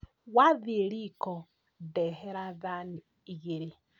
Wathiĩ riko ndehera thani igĩrĩ